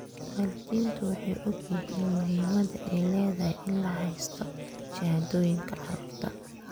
Waalidiintu way ogyihiin muhiimadda ay leedahay in la haysto shahaadooyinka carruurta.